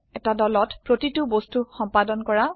এটি দলত প্ৰতিটি বস্তুক সম্পাদন কৰা